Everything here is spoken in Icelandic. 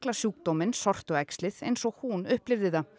sjúkdóminn sortuæxlið eins og hún upplifði það